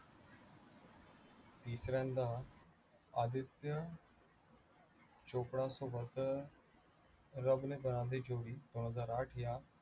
तिसऱ्यांदा आदित्य चोप्रासोबत रब ने बना दी जोडी दोनहजार आठ या